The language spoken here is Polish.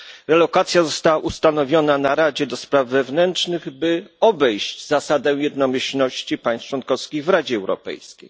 Relokacja została ustanowiona przez Radę do Spraw Wewnętrznych, by obejść zasadę jednomyślności państw członkowskich w Radzie Europejskiej.